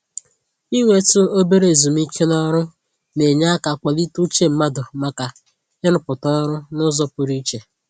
Inwetụ obere ezumike n'ọrụ na-enye aka kwalite uche mmadụ maka ịrụpụta ọrụ n'ụzọ pụrụ iche